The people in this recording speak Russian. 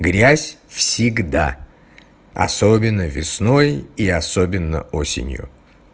грязь всегда особенно весной и особенно осенью